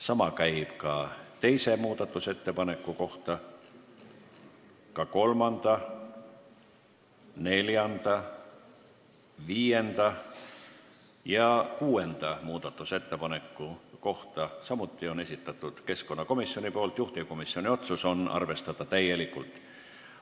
Sama käib teise muudatusettepaneku kohta, samuti kolmanda, neljanda, viienda ja kuuenda muudatusettepaneku kohta – kõik need on esitanud keskkonnakomisjon, juhtivkomisjoni otsus on arvestada täielikult.